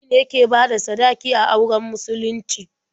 Miji ne ke bada sadaki a auren musulunci.